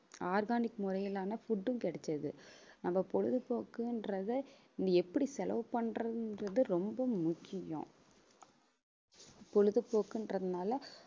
organic முறையிலான food ம் கிடைச்சது நம்ம பொழுதுபோக்குன்றதை இனி எப்படி செலவு பண்றதுன்றது ரொம்ப முக்கியம் பொழுதுபோக்குன்றதுனால